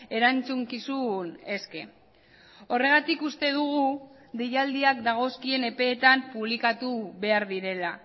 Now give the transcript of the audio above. erantzukizun eske horregatik uste dugu deialdiak dagozkien epeetan publikatu behar direla